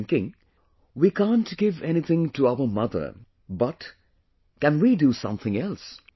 I was thinking... we can’t give anything to our mother, but, can we do something else